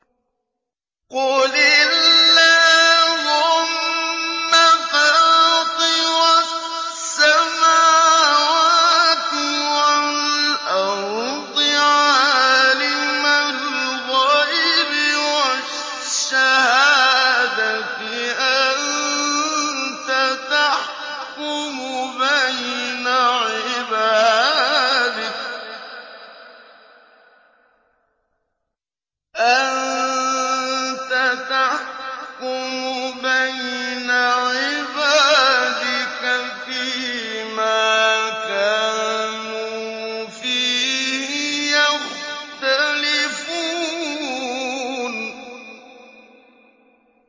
قُلِ اللَّهُمَّ فَاطِرَ السَّمَاوَاتِ وَالْأَرْضِ عَالِمَ الْغَيْبِ وَالشَّهَادَةِ أَنتَ تَحْكُمُ بَيْنَ عِبَادِكَ فِي مَا كَانُوا فِيهِ يَخْتَلِفُونَ